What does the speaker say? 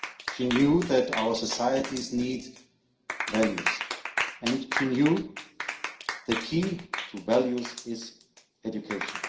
She knew that our societies need values, and she knew the key to values is education.